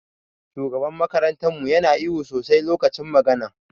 Shugaban makarantar mu Yana ihu sosai lokacin magana.